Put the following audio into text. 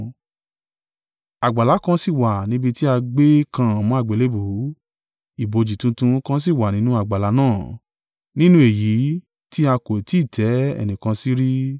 Àgbàlá kan sì wà níbi tí a gbé kàn án mọ́ àgbélébùú; ibojì tuntun kan sì wà nínú àgbàlá náà, nínú èyí tí a kò tí ì tẹ́ ẹnìkan sí rí.